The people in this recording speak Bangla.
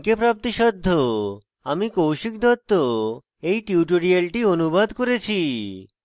আমি কৌশিক দত্ত এই টিউটোরিয়ালটি অনুবাদ করেছি